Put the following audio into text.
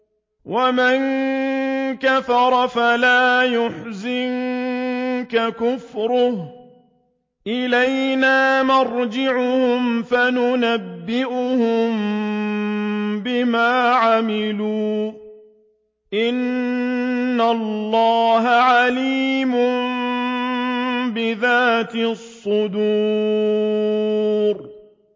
وَمَن كَفَرَ فَلَا يَحْزُنكَ كُفْرُهُ ۚ إِلَيْنَا مَرْجِعُهُمْ فَنُنَبِّئُهُم بِمَا عَمِلُوا ۚ إِنَّ اللَّهَ عَلِيمٌ بِذَاتِ الصُّدُورِ